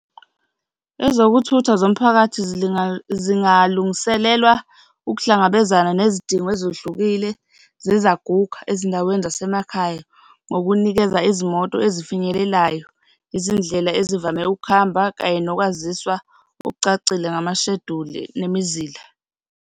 Ezokuthutha zomphakathi zingalungiselwa ukuhlangabezana nezidingo ezihlukile zezaguga ezindaweni zasemakhaya ngokunikeza izimoto ezifinyeleleyo, izindlela ezivame ukuhamba kanye nokwaziswa okucacile, amashejuli nemizila.